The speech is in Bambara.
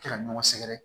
Kɛ ka ɲɔgɔn sɛgɛrɛ